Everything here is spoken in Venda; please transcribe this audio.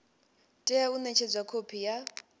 tea u nekedzwa khophi ya